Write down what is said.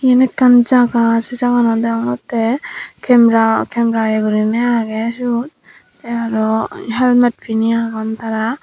iyen ekkan jaga se jaga ganot degongotte camera iyo guriney age sut te aro helmet pinine agon tara.